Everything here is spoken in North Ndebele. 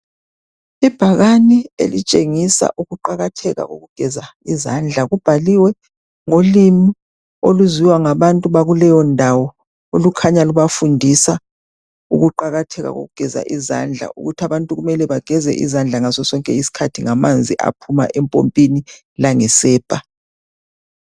Ibhakani elitshengisa ukuqakatheka kokugeza izandla kubhaliwe ngolimi oluzwiwa ngabantu bakuleyo ndawo olukhanya lubafundisa ukuqakatheka kokugeza izandla ukuthi abantu kumele bageze izandla ngaso sonke isikhathi ngamanzi aphuma empompini langesepa.